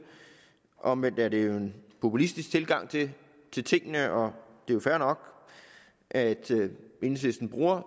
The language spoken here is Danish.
omvendt er det en populistisk tilgang til tingene og det er fair nok at enhedslisten bruger